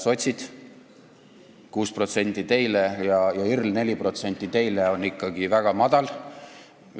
Sotsid, 6% teile, ja IRL, 4% teile on ikkagi väga madal näitaja.